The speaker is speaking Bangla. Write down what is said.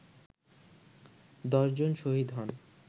১০ জন শহীদ হন